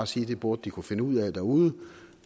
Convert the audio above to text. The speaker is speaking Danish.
sige at de burde kunne finde ud af derude